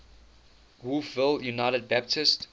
wolfville united baptist